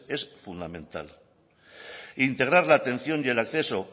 es fundamental integrar la atención y el acceso